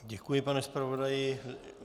Děkuji, pane zpravodaji.